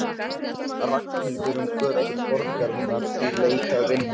Ragnhildur um götur borgarinnar í leit að vinnu.